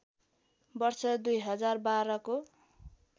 वर्ष २०१२ को